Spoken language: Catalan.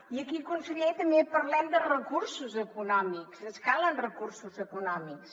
i aquí conseller també parlem de recursos econòmics ens calen recursos econòmics